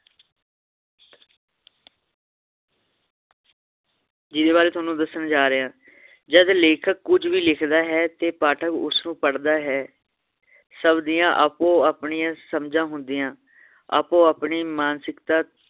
ਜਿੰਦੇ ਬਾਰੇ ਤੁਹਾਨੂੰ ਦੱਸਣ ਜਾਰ੍ਹਿਆਂ ਜਦ ਲੇਖਕ ਕੁਝ ਵੀ ਲਿਖਦਾ ਹੈ ਤੇ ਪਾਠਕ ਉਸਨੂੰ ਪੜ੍ਹਦਾ ਹੈ ਸਬ ਦੀਆਂ ਆਪੋ ਆਪਣੀਆਂ ਸਮਝਾਂ ਹੁੰਦੀਆਂ ਆਪੋ ਆਪਣੀਆਂ ਮਾਨਸਿਕਤਾ